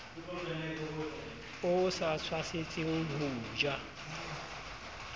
o sa tshwasetseng ho ja